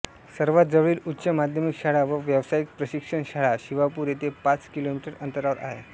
सर्वात जवळील उच्च माध्यमिक शाळा व व्यावसायिक प्रशिक्षण शाळा शिवापूर येथे पाच किलोमीटर अंतरावर आहे